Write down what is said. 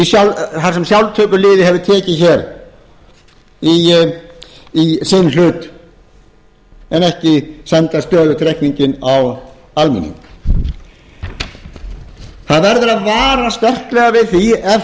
í sinn hlut en ekki senda stöðugt reikninginn á almenning það verður að vara sterklega við því ef